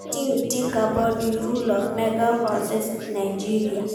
Wetin you think about di role of mega-churches in Nigeria?